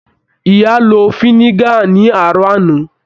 Ìyá ló finiga ni aarọ àna.